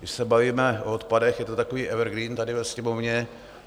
Když se bavíme o odpadech, je to takový evergreen tady ve Sněmovně.